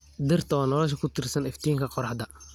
Dhirta waa noolaha ku tiirsan iftiinka qorraxda.